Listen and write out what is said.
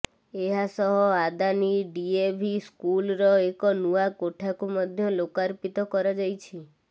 ଏହା ସହ ଆଦାନୀ ଡିଏଭି ସ୍କୁଲ୍ର ଏକ ନୂଆ କୋଠାକୁ ମଧ୍ୟ ଲୋକାର୍ପିତ କରାଯାଇଛି